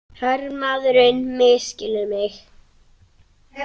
Hermaðurinn misskilur mig.